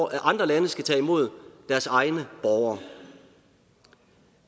at andre lande skal tage imod deres egne borgere